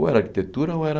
Ou era arquitetura ou era...